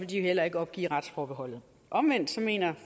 de heller ikke opgive retsforbeholdet omvendt mener